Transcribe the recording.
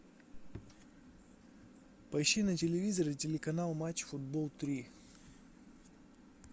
поищи на телевизоре телеканал матч футбол три